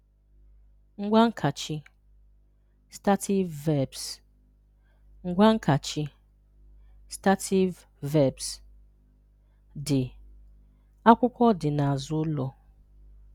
Ngwaankachi (Stative Verbs) Ngwaankachi (Stative Verbs) – Dị: “Akwụkwọ dị n’azụ ụlọ.”